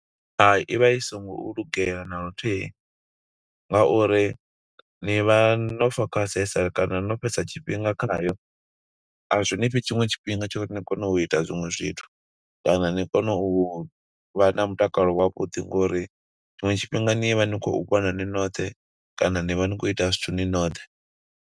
Hai, i vha i songo lugela na luthihi, nga uri ni vha no fokhasesa kana no fhedza tshifhinga khayo, azwi ni fhi tshiṅwe tshifhinga tsho uri ni kone u ita zwiṅwe zwithu. Kana ni kone u vha na mutakalo wavhuḓi, ngo uri tshiṅwe tshifhinga ni vha ni khou vhona ni noṱhe, kana ni vha ni khou ita zwithu ni noṱhe.